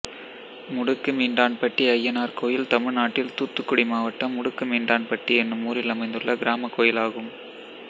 முடுக்குமீண்டான்பட்டி அய்யனார் கோயில் தமிழ்நாட்டில் தூத்துக்குடி மாவட்டம் முடுக்குமீண்டான்பட்டி என்னும் ஊரில் அமைந்துள்ள கிராமக் கோயிலாகும்